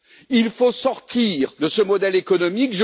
Il faut sortir de ce modèle économique.